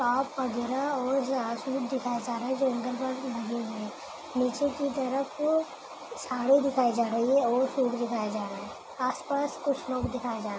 top वगैरा और यहाँ सूट दिखाए जा रहे हैं जो ऐंगल पर लगे हैं नीचे की तरफ साड़ी दिखाई जा रही है और सूट दिखाए जा रहे हैं आसपास कुछ लोग दिखाई जा--